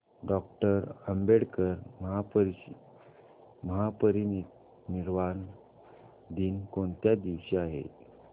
doctor Ambedkar महापरिनिर्वाण दिन कोणत्या दिवशी आहे